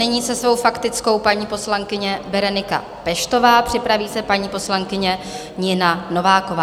Nyní se svou faktickou paní poslankyně Berenika Peštová, připraví se paní poslankyně Nina Nováková.